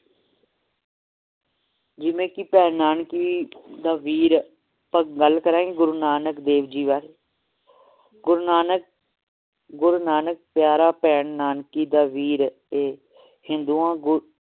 ਜਿਵੇ ਕਿ ਭੈਣ ਨਾਨਕੀ ਦਾ ਵੀਰ ਆਪਾਂ ਗੱਲ ਲੜਾਂਗੇ ਗੁਰੂ ਨਾਨਕ ਜੀ ਵਾਰੇ ਗੁਰੂ ਨਾਨਕ ਪਿਆਰਾ ਭੈਣ ਨਾਨਕੀ ਦਾ ਵੀਰ ਏ ਹਿੰਦੂਆਂ ਗੁਰੂ